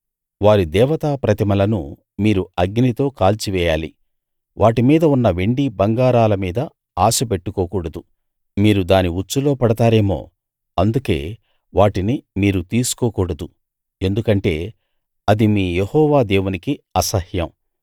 వారి దేవతా ప్రతిమలను మీరు అగ్నితో కాల్చివేయాలి వాటి మీద ఉన్న వెండి బంగారాల మీద ఆశ పెట్టుకోకూడదు మీరు దాని ఉచ్చులో పడతారేమో అందుకే వాటిని మీరు తీసుకోకూడదు ఎందుకంటే అది మీ యెహోవా దేవునికి అసహ్యం